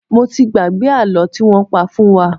Mo ti gbàgbé àlọ́ tí wọ́n pa fún wa.